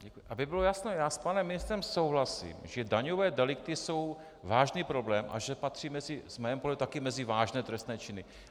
Aby bylo jasno, já s panem ministrem souhlasím, že daňové delikty jsou vážný problém a že patří z mého pohledu také mezi vážné trestné činy.